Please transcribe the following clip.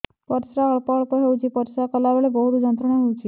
ପରିଶ୍ରା ଅଳ୍ପ ଅଳ୍ପ ହେଉଛି ପରିଶ୍ରା କଲା ବେଳେ ବହୁତ ଯନ୍ତ୍ରଣା ହେଉଛି